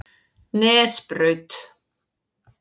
Nesbraut